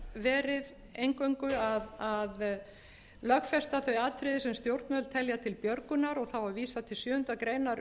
verið eingöngu að lögfesta þau atriði sem stjórnvöld telja til björgunar og þá er vísað til sjöundu greinar